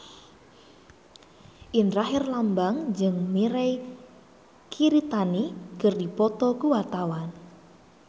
Indra Herlambang jeung Mirei Kiritani keur dipoto ku wartawan